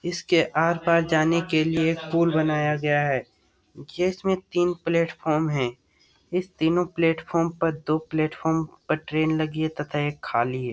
इसके आर-पार जाने के लिए पुल बनाया गया है इसमें तीन प्लेटफार्म है इस तीनों प्लेटफार्म पर दो प्लेटफार्म पर ट्रेन लगी हुई है तथा एक खाली है।